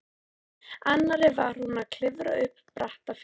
annarri var hún að klifra upp bratta fjallshlíð.